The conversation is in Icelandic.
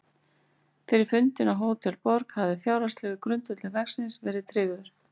Fyrir fundinn á Hótel Borg hafði fjárhagslegur grundvöllur verksins verið tryggður.